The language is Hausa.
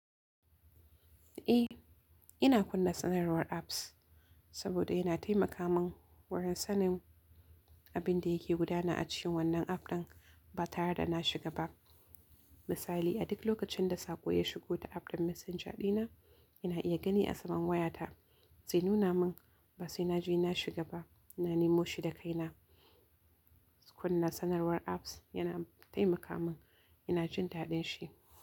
Eh, ina kunna sanarwar apps saboda yana taimaka mun wurin sanin abin da yake gudana a cikin wannan app ɗin ba tare da na shiga ba. Misali, a duk lokacin da saƙo ya shigo ta app ɗin messenger ɗina, ina iya gani a saman wayata. Zai nuna mun ba sai na je na shiga ba, na nemo shi da kaina. Kunna sanarwar apps yana taimaka mun ina jin daɗin shi.